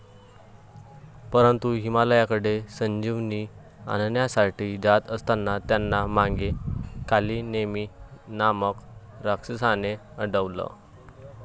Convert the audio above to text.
परंतु हिमालयाकडे संजीवनी आणण्यासाठी जात असताना त्यांना मागे 'कालीनेमी' नामक राक्षसाने अडवलं.